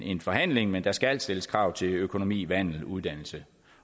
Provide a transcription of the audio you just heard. en forhandling men der skal stilles krav til økonomi vandel uddannelse